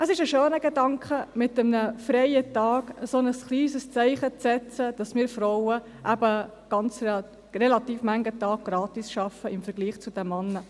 Es ist ein schöner Gedanke, mit einem freien Tag ein kleines Zeichen zu setzen, dass wir Frauen im Vergleich zu den Männern eben relativ viele Tage gratis arbeiten.